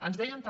ens deien també